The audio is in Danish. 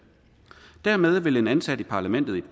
dermed vil en ansat i parlamentet i